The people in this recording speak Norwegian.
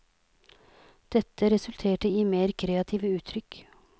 Dette resulterte i mer kreative uttrykk.